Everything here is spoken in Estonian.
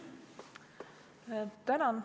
Tänan!